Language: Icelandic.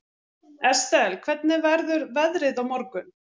Estel, hvernig verður veðrið á morgun?